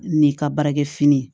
Ni ka baarakɛ fini